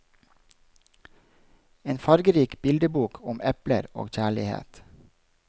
En fargerik bildebok om epler og kjærlighet.